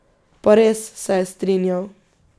Pa res, se je strinjal.